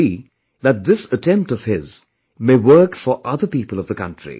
It could be that this attempt of his may work for other people of our country